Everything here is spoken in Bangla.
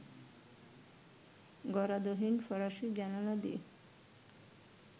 গরাদহীন ফরাসি জানালা দিয়ে